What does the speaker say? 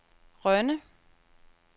Rønne